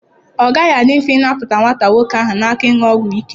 Ọ gaghị adị mfe ịnapụta nwata nwoke ahụ na aka ịṅụ ọgwụ ike.